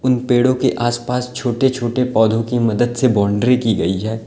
इन पेड़ों के आसपास छोटे छोटे पौधों की मदद से बाउंड्री की गई है।